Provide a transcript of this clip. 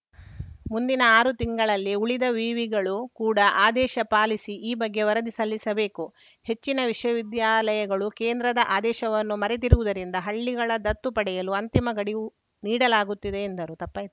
ಮುಂದಿನ ಆರು ತಿಂಗಳಿನಲ್ಲಿ ಉಳಿದ ವಿವಿಗಳು ಕೂಡ ಆದೇಶ ಪಾಲಿಸಿ ಈ ಬಗ್ಗೆ ವರದಿ ಸಲ್ಲಿಸಬೇಕು ಹೆಚ್ಚಿನ ವಿಶ್ವವಿದ್ಯಾಲಯಗಳು ಕೇಂದ್ರದ ಆದೇಶವನ್ನು ಮರೆತಿರುವುದರಿಂದ ಹಳ್ಳಿಗಳ ದತ್ತು ಪಡೆಯಲು ಅಂತಿಮ ಗಡಿವು ನೀಡಲಾಗುತ್ತಿದೆ ಎಂದರು ತಪ್ಪಾಯ್ತ್